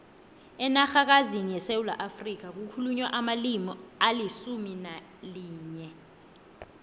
enarhakazini yesewula afrika kukhulunywa amalimi alisumu nalinye